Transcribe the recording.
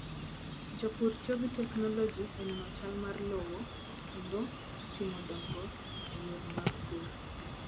Jopur tiyo gi teknoloji e nono chal mar lowo kendo timo dongruok e yore mag pur.